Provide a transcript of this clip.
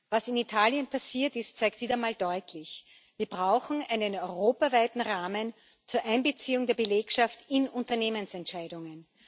Was in Italien passiert ist, zeigt wieder mal deutlich Wir brauchen einen europaweiten Rahmen zur Einbeziehung der Belegschaft in Unternehmensentscheidungen.